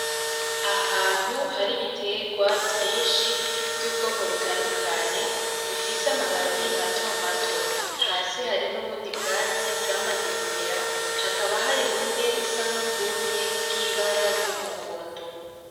Ahantu hari ibitegwa vyinshi vyubwoko butandukanye bifise amababi matomato hasi hari nubundi bwatsi bwamaze kumera hakaba hari bumwe busa nkubwumye bwibara ryumuhondo